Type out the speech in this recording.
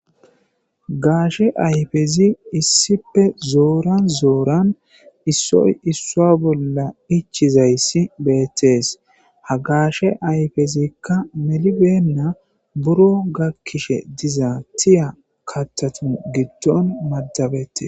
Gaashe ayfezi issipe zooran zooran issoy isso bolla ichizayssi beettees ha gaashe ayfezikka melibenna buro gakkishe diza tiya kattatun giddon maddabette.